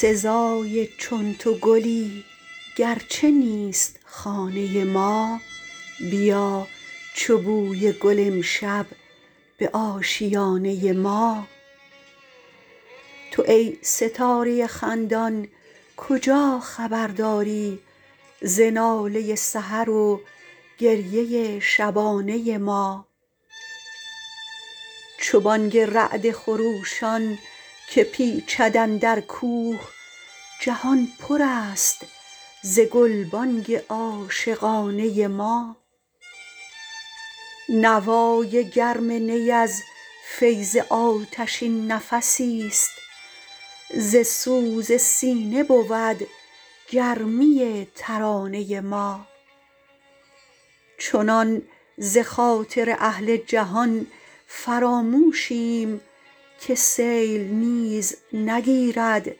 سزای چون تو گلی گرچه نیست خانه ما بیا چو بوی گل امشب به آشیانه ما تو ای ستاره خندان کجا خبر داری ز ناله سحر و گریه شبانه ما چو بانگ رعد خروشان که پیچد اندر کوه جهان پر است ز گلبانگ عاشقانه ما نوای گرم نی از فیض آتشین نفسی است ز سوز سینه بود گرمی ترانه ما چنان ز خاطر اهل جهان فراموشیم که سیل نیز نگیرد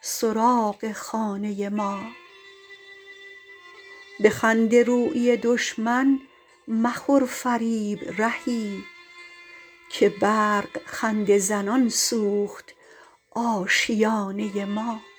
سراغ خانه ما به خنده رویی دشمن مخور فریب رهی که برق خنده زنان سوخت آشیانه ما